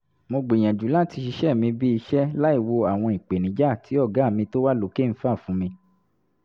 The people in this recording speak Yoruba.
mo gbìyànjú láti ṣiṣẹ́ mi bíi iṣẹ́ láìwo àwọn ìpènijà tí "ọ̀gá mi tó wà lókè" ń fà fún mi